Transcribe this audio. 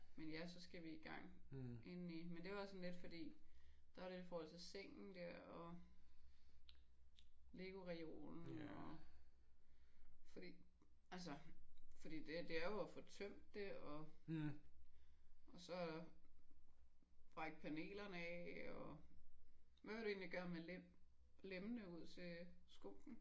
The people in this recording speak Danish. Men ja så skal vi i gang indeni. Men det er også sådan lidt fordi der er det i forhold til sengen der og LEGO-reolen og. Fordi altså fordi det det er jo at få tømt det og og så er der brække panelerne af og. Hvad vil du egentlig gøre men lem lemmene ud til skoene?